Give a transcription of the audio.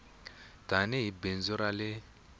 tani hi bindzu ra le